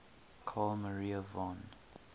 carl maria von